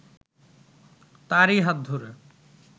তারই হাত ধরে